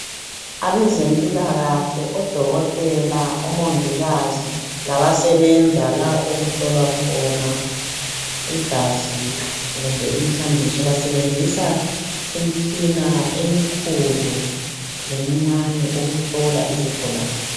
Abezempilakahle odokotela obomongikazi labasebenza la okuhlolwa khona igazi kumbe umthambiso basebenzisa imitshina emikhulu lemincane ukuhlola izigulane.